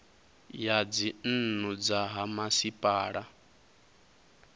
ya dzinnu dza ha masipala